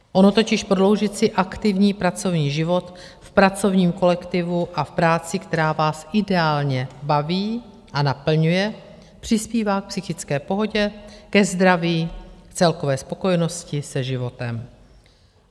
Ono totiž prodloužit si aktivní pracovní život v pracovním kolektivu a v práci, která vás ideálně baví a naplňuje, přispívá k psychické pohodě, ke zdraví, k celkové spokojenosti se životem.